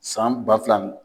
San ba fila n